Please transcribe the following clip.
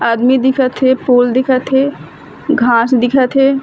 आदमी दिखत हे पूल दिखत हे घास दिखत हे।